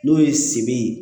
N'o ye sebe